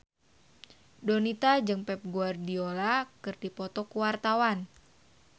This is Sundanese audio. Donita jeung Pep Guardiola keur dipoto ku wartawan